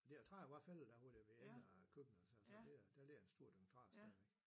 De der træer var fældet da hvor det var ene køkkenet eller sådan noget der liger en stor dynge træer stadigvæk